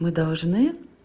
мы должны